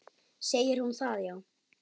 Segir hún það, já?